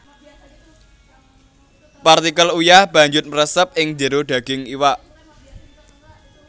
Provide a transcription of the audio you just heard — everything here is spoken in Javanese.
Partikel uyah banjut mresep ing jero daging iwak